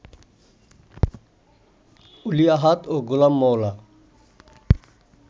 অলি আহাদ ও গোলাম মওলা